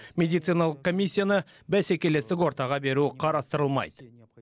медициналық комиссияны бәсекелестік ортаға беру қарастырылмайды